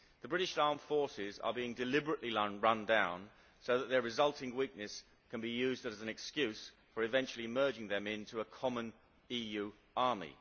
The British armed forces are being deliberately run down so that their resulting weaknesses can be used as an excuse for eventually merging them into a common EU army.